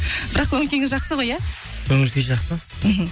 бірақ көңіл күйіңіз жақсы ғой иә көңіл күй жақсы мхм